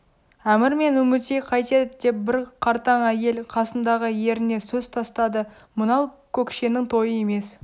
әмір мен үмітей қайтеді деп бір қартаң әйел қасындағы еріне сөз тастады мынау көкшенің тойы емес